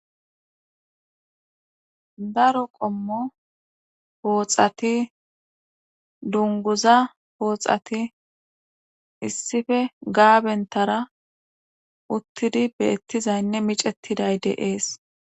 daro qommo pooxati dunguza pooxati issife gaabentara uttidi beettizaynne micettiday deees